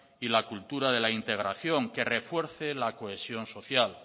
y la cultura de la integración que refuerce la cohesión social